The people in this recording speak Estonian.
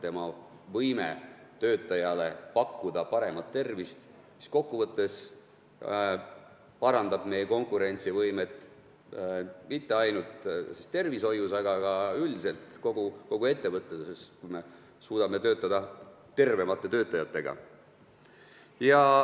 Tema võime pakkuda töötajale paremat tervist parandab kokkuvõttes meie konkurentsivõimet mitte ainult tervishoius, vaid üldse kogu ettevõtluses, sest me saame tervemad töötajad.